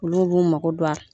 Olu b'u mago don a la.